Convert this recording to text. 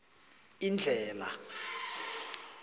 indlhela